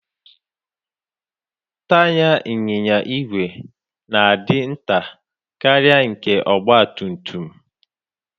Taya ịnyịnya igwe na-adị nta karịa nke ọgba tum tum.